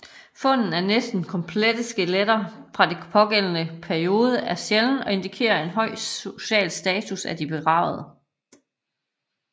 Fundet af næsten komplette skeletter fra den pågældende periode er sjælden og indikerer en høj social status af de begravede